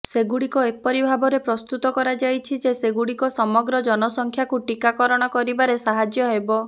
ସେଗୁଡିକ ଏପରି ଭାବରେ ପ୍ରସ୍ତୁତ କରାଯାଇଛି ଯେ ସେଗୁଡିକ ସମଗ୍ର ଜନସଂଖ୍ୟାକୁ ଟିକାକରଣ କରିବାରେ ସାହାଯ୍ୟ ହେବ